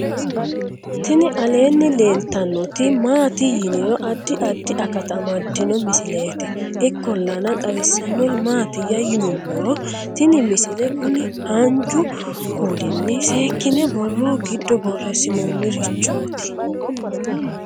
tini aleenni leeltannoti maati yiniro addi addi akata amaddino misileeti ikkollana xawissannori maatiyya yinummoro tini misile kuni haanjju kuulinni seekkine borro giddo borreessinoonnirichooti